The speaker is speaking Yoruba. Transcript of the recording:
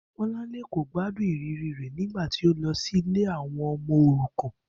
Bó̩lárìnwá kò gbádùn ìrírí rè̩ nígbà tí ó lo sí ilé àwo̩n o̩mo̩ òrukàn